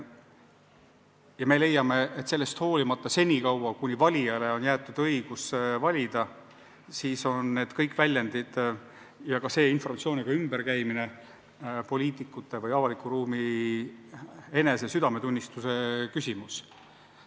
Ja me leiame, et senikaua, kuni valijale on jäetud õigus valida, on need kõik väljendid ja ka informatsiooniga ümberkäimine poliitikute või avaliku ruumi enese südametunnistuse küsimus.